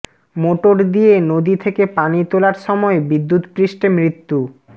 motor দিয়ে নদী থেকে পানি তোলার সময় বিদ্যুৎস্পৃষ্টে মৃত্যু